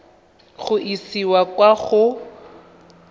go e isa kwa go